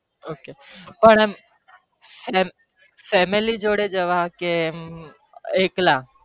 Okay પણ આમ એમ family જોડે જવા કે એમ એકલા